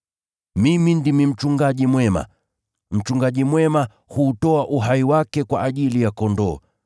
“Mimi ndimi mchungaji mwema. Mchungaji mwema huutoa uhai wake kwa ajili ya kondoo.